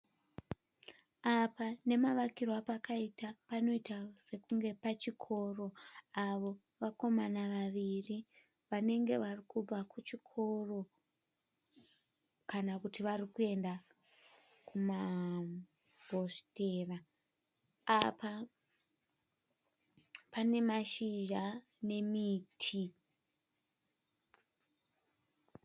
Apa nemavakirwe apakaita panoita sekunge pachikoro. Avo vakomana vaviri vanenge vari kubva kuchikoro kana kuti vari kuenda kumahositera. Apa pane mashizha nemiti.